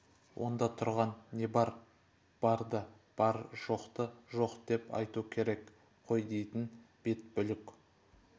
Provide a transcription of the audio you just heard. онда тұрған не бар барды бар жоқты жоқ деп айту керек қой дейтін бет бүлк